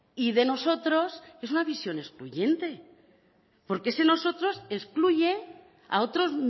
y de nosotros es una visión excluyente porque ese nosotros excluye a otros